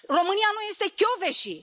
România nu este Kövesi!